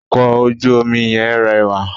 Ọkọ̀ ojú omi yẹn rẹwà.